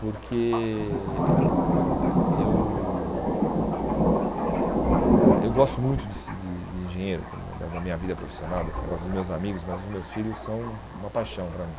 Porque eh eu ãh eu gosto muito de ser de de engenheiro, como da da minha vida profissional, desse negócio dos meus amigos, mas os meus filhos são uma paixão para mim.